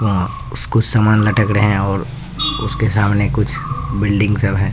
अह कुछ समान लटक रहे हैं और उसके सामने कुछ बिल्डिंग सब है।